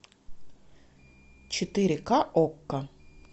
четыре ка окко